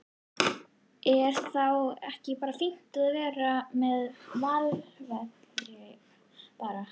Er þá ekki bara fínt að vera með malarvelli bara?